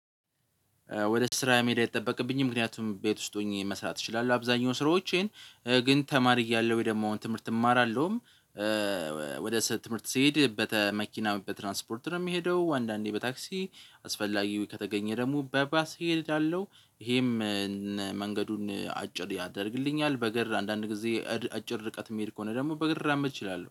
ወደ ስራ መሄድ አይጠበቅብኝም ምክንያቱም ቤት ውስጥ ሆኜ መስራት እችላለሁ አብዛኛው ስራዎቼን ግን ተማሪ እያለ ወይ ደግሞ አሁን ትምህርት እማራለሁም። ወደ ስለ ትምህርት ስሄድ በተ መኪና በትራንስፖርት ነው የሚሄደው አንዳንዴ በታክሲ አስፈላጊው ከተገኘ ደግሞ በባስ እሄዳለሁ። ይሄም መንገዱን አጭር ያደርግልኛል። በግር አንዳንድ ጊዜ አጭር ርቀት የሚሄድ ከሆነ ደግሞ በግር ራምድ እችላለሁ